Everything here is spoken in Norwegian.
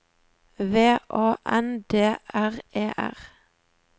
V A N D R E R